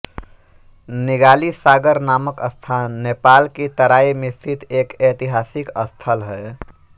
निगाली सागर नामक स्थान नेपाल की तराई में स्थित एक ऐतिहासिक स्थल है